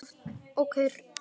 Okkur lá ekkert á.